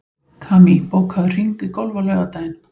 Kamí, bókaðu hring í golf á laugardaginn.